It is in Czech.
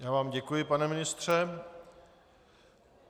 Já vám děkuji, pane ministře.